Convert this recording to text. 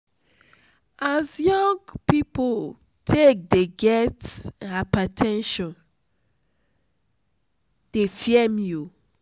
as young pipo take dey get hyper ten sion dey fear me o.